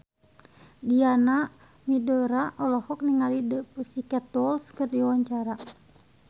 Diana Widoera olohok ningali The Pussycat Dolls keur diwawancara